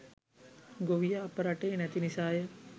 ගොවියා අප රටේ නැති නිසාය.